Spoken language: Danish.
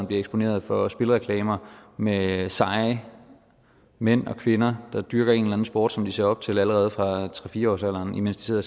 bliver eksponeret for spilreklamer med seje mænd og kvinder der dyrker en eller anden sport som de ser op til allerede fra tre fire årsalderen imens de sidder